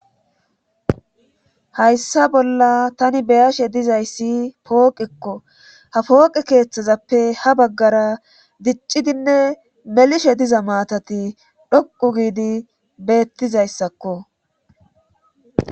hayssa bolla tani beyashe dizayssi pooqekko ha pooqe keeththazappe ha baggara diccidinne melishe diza maatati dhoqu giidi beettizayssakko